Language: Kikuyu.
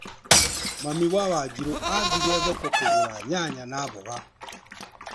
Mami wa Wanjirũ athire thoko kũgũra nyanya na mboga.